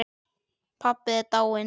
Pabbi er dáinn